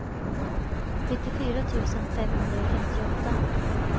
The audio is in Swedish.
nittiofyra tusen femhundrafemtioåtta